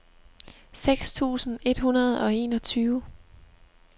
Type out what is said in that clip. seks tusind et hundrede og enogtyve